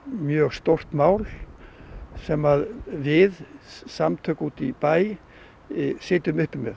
mjög stórt mál sem við samtök út í bæ sitjum uppi með